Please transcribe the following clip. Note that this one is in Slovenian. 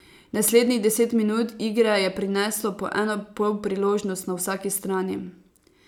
Naslednjih deset minut igre je prineslo po eno polpriložnost na vsaki strani.